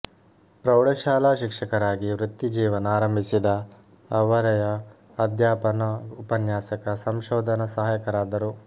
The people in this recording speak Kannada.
ಪ್ರೌಢಶಾಲಾ ಶಿಕ್ಷಕರಾಗಿ ವೃತ್ತಿ ಜೀವನ ಆರಂಭಿಸಿದ ಅವರಯ ಅಧ್ಯಾಪನ ಉಪನ್ಯಾಸಕ ಸಂಶೋಧನ ಸಹಾಯಕರಾದರು